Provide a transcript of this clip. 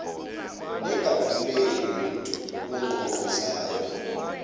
ningavuleli mntu unkqonkqozayo